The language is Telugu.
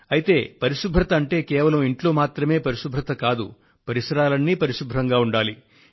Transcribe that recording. అయితే పరిశుభ్రత అంటే ఒక్క మీ ఇంట్లో పరిశుభ్రత మాత్రమే కాదు మీ పరిసర ప్రాంతాలు అన్నీ కూడా పరిశుభ్రంగా ఉండాలి